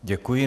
Děkuji.